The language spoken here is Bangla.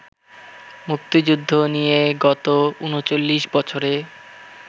মুক্তিযুদ্ধ নিয়ে গত ৩৯ বছরে